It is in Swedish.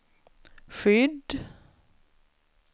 skydd